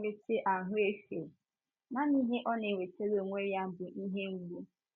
Kama inweta ahụ efe, nanị ihe ọ na - enwetara onwe ya bụ ihe mgbu.